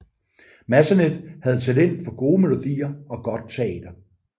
Massenet havde talent for gode melodier og godt teater